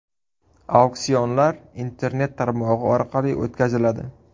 Auksionlar Internet tarmog‘i orqali o‘tkaziladi.